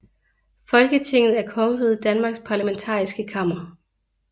Folketinget er Kongeriget Danmarks parlamentariske kammer